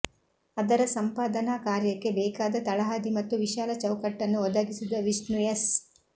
ಅದರ ಸಂಪಾದನಾ ಕಾರ್ಯಕ್ಕೆ ಬೇಕಾದ ತಳಹದಿ ಮತ್ತು ವಿಶಾಲ ಚೌಕಟ್ಟನ್ನು ಒದಗಿಸಿದ ವಿಷ್ಣು ಎಸ್